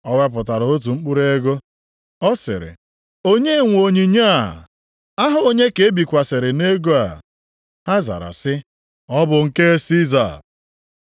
Ha wepụtara otu mkpụrụ ego, Ọ sịrị, “Onye nwe onyinyo a? Aha onye ka e bikwasịrị nʼego a?” Ha zara sị, “Ọ bụ nke Siza.”